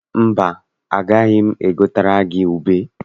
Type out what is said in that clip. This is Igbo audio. Mba, agaghị m egotere gị ube.